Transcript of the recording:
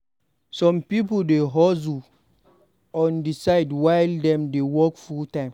Some pipo dey hustle on di side while dem dey work full-time.